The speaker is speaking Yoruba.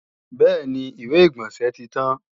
Bẹ́ẹ̀ni, ìwé-ìgbọ̀nsẹ̀ tí tán